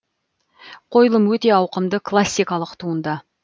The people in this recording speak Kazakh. қойылым өте ауқымды классикалық туынды